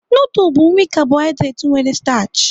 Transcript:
Nudul bụ nri kabohaịdret nwere stachị.